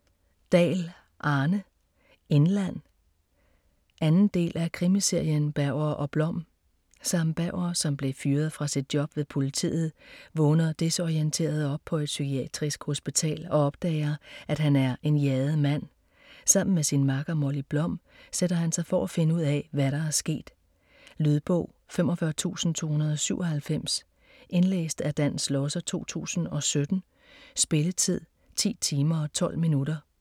Dahl, Arne: Indland 2. del af krimiserien Berger & Blom. Sam Berger, som blev fyret fra sit job ved politiet, vågner desorienteret op på et psykiatrisk hospital og opdager, at han er en jaget mand. Sammen med sin makker, Molly Blom, sætter han sig for finde ud af, hvad der er sket. Lydbog 45297 Indlæst af Dan Schlosser, 2017. Spilletid: 10 timer, 12 minutter.